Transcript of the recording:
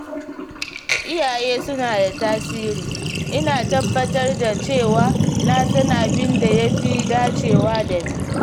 Iyaye suna da tasiri, ina tabbatar da cewa na san abin da ya fi dacewa da ni.